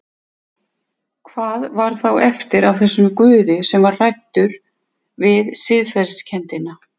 Hvað var þá eftir af þessum Guði sem var hræddur við siðferðiskenndina?